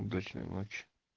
удачной ночи